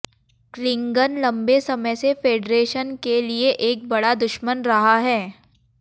Klingon लंबे समय से फेडरेशन के लिए एक बड़ा दुश्मन रहा है